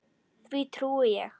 Því trúi ég.